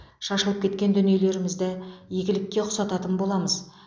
шашылып кеткен дүниелерімізді игілікке ұқсататын боламыз